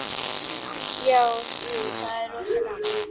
Jú, það er rosa gaman.